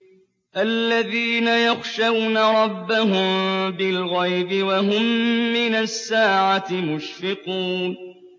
الَّذِينَ يَخْشَوْنَ رَبَّهُم بِالْغَيْبِ وَهُم مِّنَ السَّاعَةِ مُشْفِقُونَ